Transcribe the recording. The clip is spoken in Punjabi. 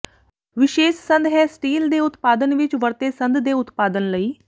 ਵਿਸ਼ੇਸ਼ ਸੰਦ ਹੈ ਸਟੀਲ ਦੇ ਉਤਪਾਦਨ ਵਿੱਚ ਵਰਤੇ ਸੰਦ ਦੇ ਉਤਪਾਦਨ ਲਈ